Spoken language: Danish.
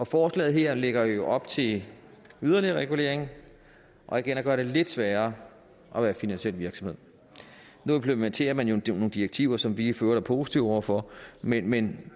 forslaget her lægger jo op til yderligere regulering og igen at gøre det lidt sværere at være finansiel virksomhed nu implementerer man jo nogle direktiver som vi for øvrigt er positive over for men men